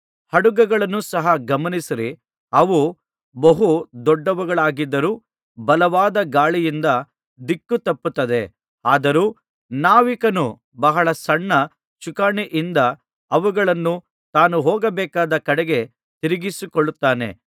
ಹಡಗುಗಳನ್ನು ಸಹ ಗಮನಿಸಿರಿ ಅವು ಬಹು ದೊಡ್ಡವುಗಳಾಗಿದ್ದರೂ ಬಲವಾದ ಗಾಳಿಯಿಂದ ದಿಕ್ಕು ತಪ್ಪುತ್ತದೆ ಆದರೂ ನಾವಿಕನು ಬಹಳ ಸಣ್ಣ ಚುಕ್ಕಾಣಿಯಿಂದ ಅವುಗಳನ್ನು ತಾನು ಹೋಗ ಬೇಕಾದ ಕಡೆಗೆ ತಿರುಗಿಸಿಕೊಳ್ಳುತ್ತಾನೆ